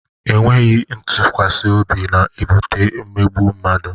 E nweghi ntụkwasị obi na-ebute imegbu mmadụ.